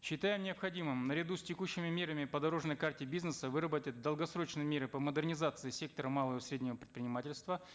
считаем необходимым наряду с текущими мерами по дорожной карте бизнеса выработать долгосрочные меры по модернизации сектора малого и среднего предпринимательства